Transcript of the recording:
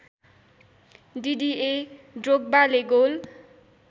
डिडिए ड्रोग्बाले गोल